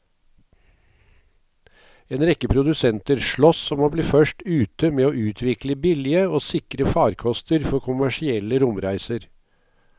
En rekke produsenter sloss om å bli først ute med å utvikle billige og sikre farkoster for kommersielle romreiser.